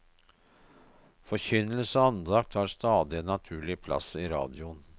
Forkynnelse og andakt har stadig en naturlig plass i radioen.